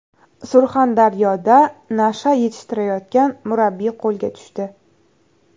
Surxondaryoda nasha yetishtirayotgan murabbiy qo‘lga tushdi.